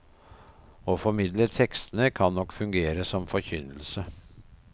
Å formidle tekstene kan nok fungere som forkynnelse.